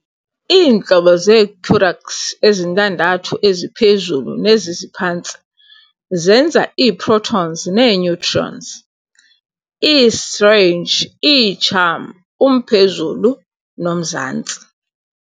Iintlobo zee-quraks ezintandathu eziphezulu, neziziphantsi, zenza ii-protons nee-neutrons, ii-strange, ii-charm, umphezulu, nomzantsi.